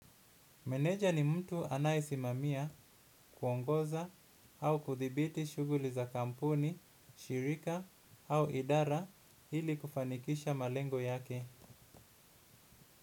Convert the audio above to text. Meneja ni mtu anayesimamia kuongoza au kuthibiti shuguli za kampuni, shirika au idara ili kufanikisha malengo yake.